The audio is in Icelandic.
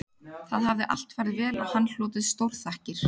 Þá hafði allt farið vel og hann hlotið stórþakkir